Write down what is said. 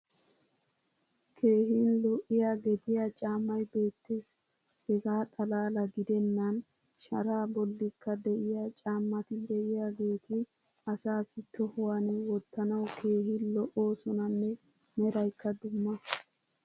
keehin lo'iya geddiya caamay beetees. hegaa xalaala giddenan sharaa bolikka de'iyaa caamati diyaageti asaassi tohuwan wottanawu keehi lo'oosonanne meraykka dumma.